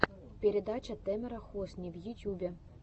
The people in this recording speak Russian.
передача тэмера хосни в ютьюбе